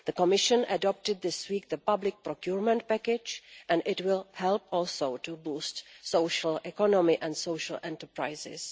The Commission adopted this week the Public Procurement Package and it will help also to boost social economy and social enterprises.